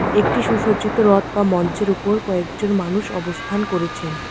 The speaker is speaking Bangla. একটি সুসজ্জিত রথ বা মঞ্চের উপর কয়েকজন মানুষ অবস্থান করেছেন।